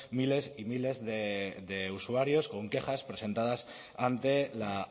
miles y miles de usuarios con quejas presentadas ante la